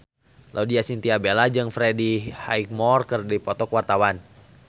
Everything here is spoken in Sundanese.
Laudya Chintya Bella jeung Freddie Highmore keur dipoto ku wartawan